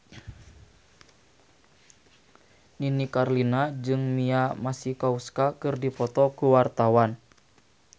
Nini Carlina jeung Mia Masikowska keur dipoto ku wartawan